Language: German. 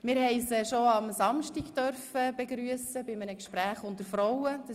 Wir durften die Gruppe bereits am Samstag anlässlich eines Gespräches unter Frauen begrüssen.